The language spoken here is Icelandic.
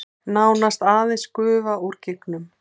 Nánast aðeins gufa úr gígnum